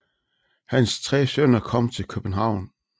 Hans 3 sønner kom til København